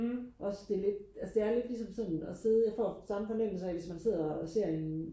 også det lidt altså det er sådan lidt ligesom sådan og sidde jeg får samme fornemmelse af hvis man sidder og ser en